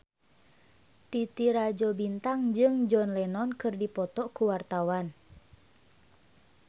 Titi Rajo Bintang jeung John Lennon keur dipoto ku wartawan